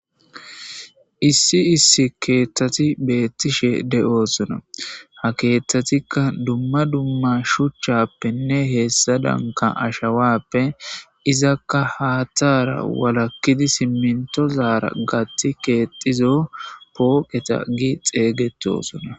issi issi keththati beettishe de7osona ha keththatikka dumma dumma shuchchappenne heessa danka ashawappe izakka haththara walakkidi simminto zaara gathi keexizo pooqeta gi xeeygetosona